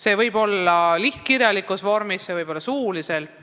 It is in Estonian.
See võib olla kirjalikus vormis, seda võib teha suuliselt.